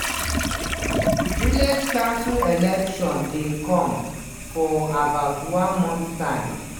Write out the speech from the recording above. village council elections dey come for about one month time.